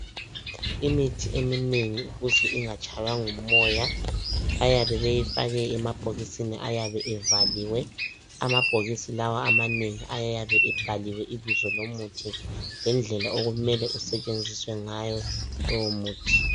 Imithi eminengi ukuze ingatshaywa ngumoya bayabe beyifake emabhokisin ayabe evaliwe , amabhokisi lawa amanengi ayabe ebhaliwe ibizo lomuthi lendlela okumele usetshenziswa ngayo lowo muthi.